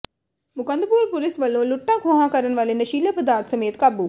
Mukandpur police ਵਲੋਂ ਲੁੱਟਾਂ ਖੋਹਾਂ ਕਰਨ ਵਾਲੇ ਨਸ਼ੀਲੇ ਪਦਾਰਥ ਸਮੇਤ ਕਾਬੂ